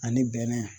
Ani bɛnɛ